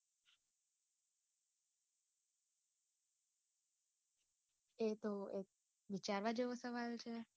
એતો એક વિચારવા જેવો સવાલ છે.